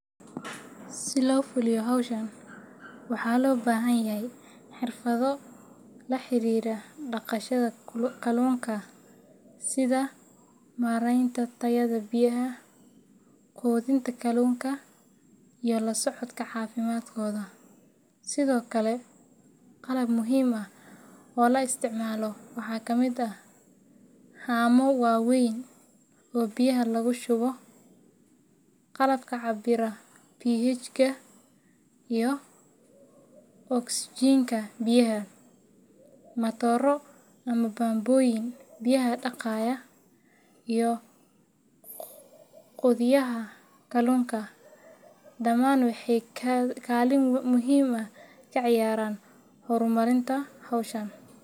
Si loo fuliyo hawshan, waxaa loo baahan yahay xirfado la xiriira dhaqashada kalluunka sida maaraynta tayada biyaha, quudinta kalluunka, iyo la socodka caafimaadkooda. Sidoo kale qalab muhiim ah oo la isticmaalo waxaa ka mid ah haamo waaweyn oo biyaha lagu shubo, qalabka cabbira pH-ga iyo oksijiinta biyaha, matooro ama bambooyin biyaha dhaqaya, iyo quudiyaha kalluunka. Dhammaan waxay kaalin muhiim ah ka ciyaaraan horumarinta hawshan.